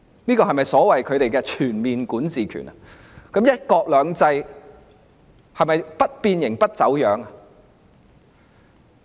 這是否他們所謂的全面管治權，"一國兩制"是否不變形、不走樣呢？